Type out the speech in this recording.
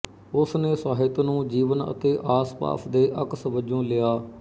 ਉਸਨੇ ਸਾਹਿਤ ਨੂੰ ਜੀਵਨ ਅਤੇ ਆਸਪਾਸ ਦੇ ਅਕਸ ਵਜੋਂ ਲਿਆ